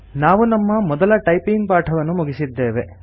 ನಾವು ನಮ್ಮ ಮೊದಲ ಟೈಪಿಂಗ್ ಪಾಠವನ್ನು ಮುಗಿಸಿದ್ದೇವೆ